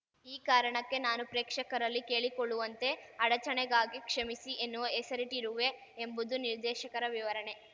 ಈ ಕಾರಣಕ್ಕೆ ನಾನು ಪ್ರೇಕ್ಷಕರಲ್ಲಿ ಕೇಳಿಕೊಳ್ಳುವಂತೆ ಅಡಚಣೆಗಾಗಿ ಕ್ಷಮಿಸಿ ಎನ್ನುವ ಹೆಸರಿಟ್ಟಿರುವೆ ಎಂಬುದು ನಿರ್ದೇಶಕರ ವಿವರಣೆ